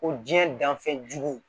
Ko diɲɛ danfɛn jugu